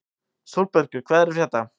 Sólbergur, hvað er að frétta?